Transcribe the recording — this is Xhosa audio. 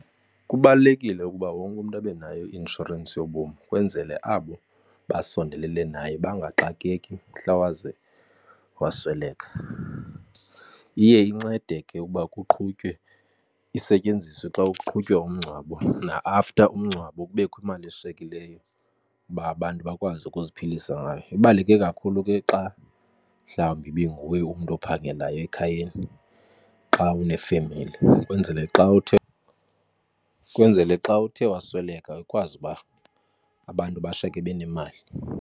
Kubalulekile ukuba wonke umntu abe nayo i-inshorensi yobomi kwenzele abo basondelele naye bangaxakeki mhla waze wasweleka. Iye incede ke ukuba kuqhutywe isetyenziswe xa kuqhutywa umngcwabo na after umngcwabo kubekho imali eshiyekileyo uba abantu bakwazi ukuziphilisa ngayo. Ibaluleke kakhulu ke xa mhlawumbi ibinguwe umntu ophangelayo ekhayeni xa unefemeli ukwenzele xa uthe wasweleka ikwazi uba abantu bashiyeke benemali.